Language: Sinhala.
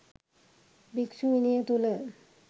භික්‍ෂු විනය තුළ